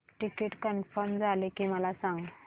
ticket confirm झाले की मला सांग